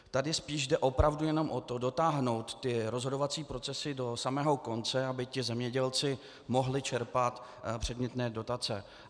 Tady spíš jde opravdu jenom o to, dotáhnout ty rozhodovací procesy do samého konce, aby ti zemědělci mohli čerpat předmětné dotace.